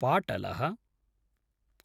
पाटलः